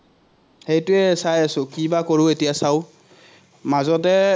সেটোৱে চাই আছো, কি বা কৰো এতিয়া চাওঁ। মাজতে